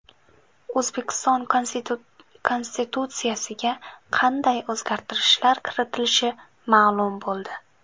O‘zbekiston Konstitutsiyasiga qanday o‘zgartirishlar kiritilishi ma’lum bo‘ldi.